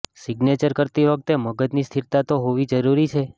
signature કરતી વખતે મગજની સ્થિરતા તો હોવી જરૂરી છે